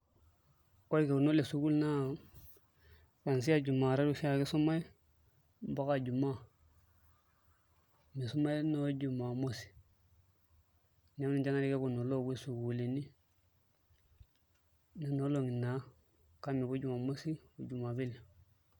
Ore irkekuno le sukul naa kuanzia juma tatu oshiake isumai mpaka jumaa misumai noo juma mosi neeku ninche naai irkekuno oopuoi sukuulini kake mepuoi juma mosi o juma pili.